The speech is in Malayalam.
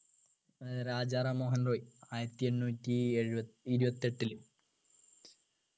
ഏർ രാജാറാം മോഹൻ റോയ് ആയിരത്തി എണ്ണൂറ്റി എഴു ഇരുപത്തെട്ടില്